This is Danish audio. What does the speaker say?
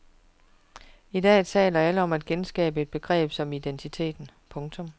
I dag taler alle om at genskabe et begreb om identiteten. punktum